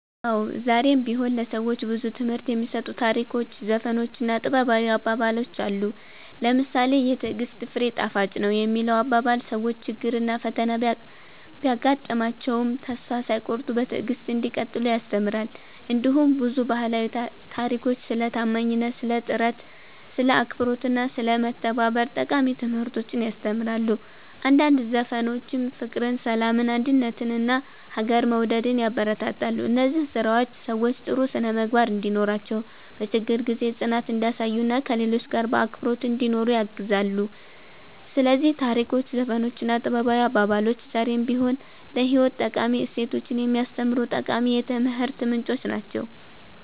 አዎ፣ ዛሬም ቢሆን ለሰዎች ብዙ ትምህርት የሚሰጡ ታሪኮች፣ ዘፈኖች እና ጥበባዊ አባባሎች አሉ። ለምሳሌ ‘የትዕግሥት ፍሬ ጣፋጭ ነው’ የሚለው አባባል ሰዎች ችግርና ፈተና ቢያጋጥማቸውም ተስፋ ሳይቆርጡ በትዕግሥት እንዲቀጥሉ ያስተምራል። እንዲሁም ብዙ ባህላዊ ታሪኮች ስለ ታማኝነት፣ ስለ ጥረት፣ ስለ አክብሮት እና ስለ መተባበር ጠቃሚ ትምህርቶችን ያስተምራሉ። አንዳንድ ዘፈኖችም ፍቅርን፣ ሰላምን፣ አንድነትን እና ሀገርን መውደድን ያበረታታሉ። እነዚህ ስራዎች ሰዎች ጥሩ ስነ-ምግባር እንዲኖራቸው፣ በችግር ጊዜ ጽናት እንዲያሳዩ እና ከሌሎች ጋር በአክብሮት እንዲኖሩ ያግዛሉ። ስለዚህ ታሪኮች፣ ዘፈኖች እና ጥበባዊ አባባሎች ዛሬም ቢሆን ለህይወት ጠቃሚ እሴቶችን የሚያስተምሩ ጠቃሚ የትምህርት ምንጮች ናቸው።"